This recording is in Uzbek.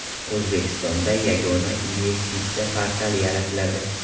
O‘zbekistonda Yagona investitsiya portali yaratiladi.